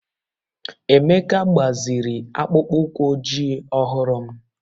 Emeka gbaziri akpụkpọ ụkwụ ojii ọhụrụ m